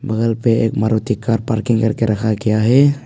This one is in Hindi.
बगल पे एक मारुति कार पार्किंग करके रखा गया है।